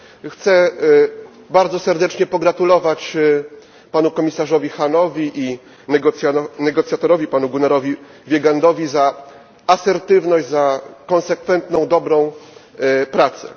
Chcę bardzo serdecznie pogratulować panu komisarzowi Hahnowi i negocjatorowi panu Gunnarowi Wiegandowi za asertywność, za konsekwentną, dobrą pracę.